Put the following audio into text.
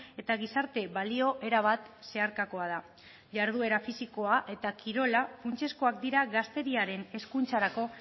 eta gizarte balio erabat zeharkakoa da jarduera fisikoa eta kirola funtsezkoak dira gazteriaren hezkuntzarako